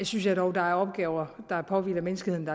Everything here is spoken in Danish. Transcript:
synes jeg dog at der er opgaver der påhviler menneskeheden